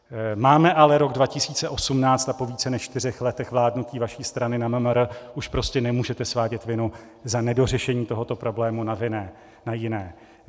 Máme ale rok 2018 a po více než čtyřech letech vládnutí vaší strany na MMR už prostě nemůžete svádět vinu za nedořešení tohoto problému na jiné.